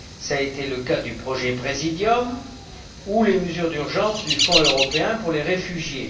Cela a été le cas du projet Præsidium ou des mesures d'urgence du Fonds européen pour les réfugiés.